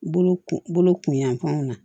Bolo kun bolo kunyanfanw na